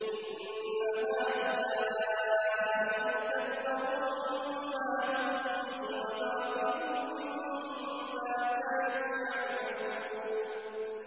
إِنَّ هَٰؤُلَاءِ مُتَبَّرٌ مَّا هُمْ فِيهِ وَبَاطِلٌ مَّا كَانُوا يَعْمَلُونَ